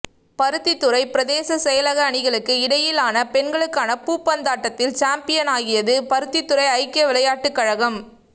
பருத்தித்துறை பிரதேச செயலக அணிகளுக்கு இடையிலான பெண்களுக்கான பூப்பந்தாட்டத்தில் சம்பியனாகியது பருத்தித்துறை ஜக்கிய விளையாட்டுக் கழகம்